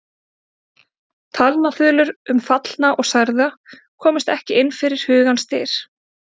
Talnaþulur um fallna og særða komust ekki inn fyrir hugans dyr.